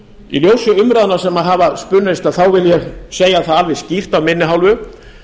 í ljósi umræðna sem hafa spunnist vil ég segja það alveg skýrt af minni hálfu